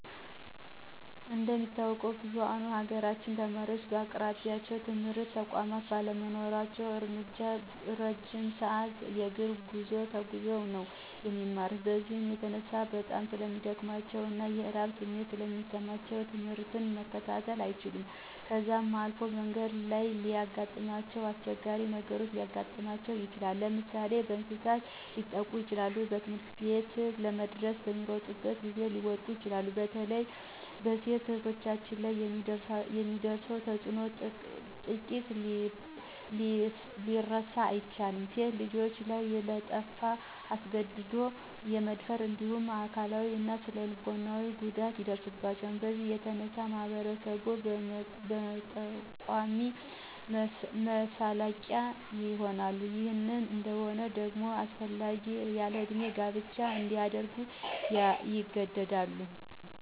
እንደሚታወቀው ብዝኋኑ የሀገራችን ተማሪወች በአቅራቢያቸው የትምህርት ተቋማት ባለመኖራቸው እረጅም ሰዐት የእግር ጉዞ ተጉዘው ነው የሚማሩት። በዚህም የተነሳ በጣም ስለሚደክማቸው እና የረሀብ ስሜት ስለሚሰማቸው ትምህርት መከታተል አይችሉም .ከዛም አልፎ በመንገድ ላይ የሚያጋጥማቸው አስቸጋሪ ነገሮች ሊያጋጥማቸው ይችላል። ለምሳሌ፦ በእንሰሳት ሊጠቁ ይችላሉ, ትምህርትቤት ለመድረስ በሚሮጡበት ጊዜ ሊወድቁ ይችላሉ። በተለይ በሴት እህቶቻችን ላይ የሚደርሰው ፆታዊ ጥቃት ሊረሳ አይችልም .ሴት ልጆች ላይ የጠለፋ, አስገድዶ የመደፈር እንዲሁም አካላዊ እና ስነልቦናዊ ጉዳት ይደርስባቸዋል። በዚህም የተነሳ በማህበረሰቡ መጠቋቆሚያ መሳለቂያ ይሆናል .ይህ እንይሆን ደግሞ ሳይፈልጉ ያለእድሜ ጋብቻ እንዲያደርጉ ይገደዳሉ።